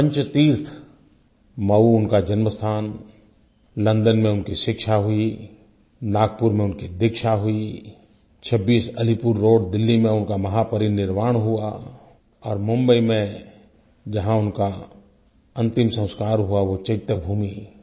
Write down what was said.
एक पंचतीर्थ मऊ उनका जन्म् स्थान लोंडों में उनकी शिक्षा हुई नागपुर में उनकी दीक्षा हुई 26अलीपुर रोड दिल्ली में उनका महापरिनिर्वाण हुआ और मुंबई में जहाँ उनका अन्तिम संस्कार हुआ वो चैत्य भूमि